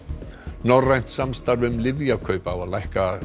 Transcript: norrænt samstarf um lyfjakaup á að lækka